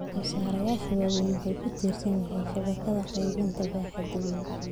Soosaarayaasha waaweyni waxay ku tiirsan yihiin shabakadaha qaybinta baaxadda weyn.